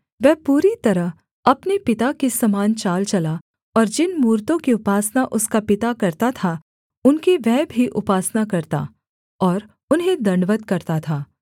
वह पूरी तरह अपने पिता के समान चाल चला और जिन मूरतों की उपासना उसका पिता करता था उनकी वह भी उपासना करता और उन्हें दण्डवत् करता था